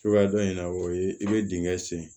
Cogoya dɔ in na o ye i bɛ dingɛ sen